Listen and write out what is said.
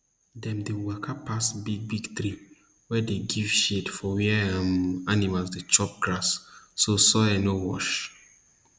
dem dey waka pass big big tree wey dey give shade for where um animal dey chop grass so soil no wash